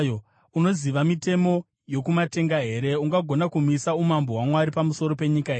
Unoziva mitemo yokumatenga here? Ungagona kumisa umambo hwaMwari pamusoro penyika here?